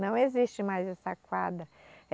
Não existe mais essa quadra.